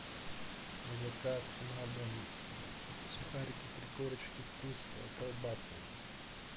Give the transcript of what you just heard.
заказ на дом сухарики три корочки вкус колбасный